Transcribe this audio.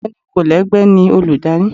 ọgbẹni kolegbe ni olùdarí